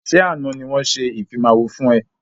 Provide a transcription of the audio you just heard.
Ṣé àna ni wọn ṣe ìfimawo fún ẹ?